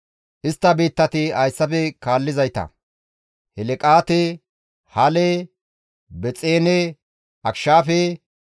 Istta biittati hayssafe kaallizayta Helqaate, Hale, Bexeene, Akishaafe,